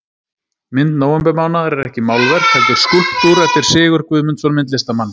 Mynd nóvembermánaðar er ekki málverk heldur skúlptúr eftir Sigurð Guðmundsson myndlistarmann.